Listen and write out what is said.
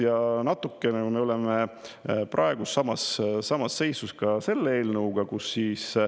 Ja natukene me oleme praegu samas samas seisus ka selle eelnõuga.